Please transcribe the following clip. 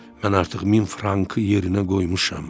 Mən artıq min frankı yerinə qoymuşam.